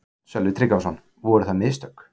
Sölvi Tryggvason: Voru það mistök?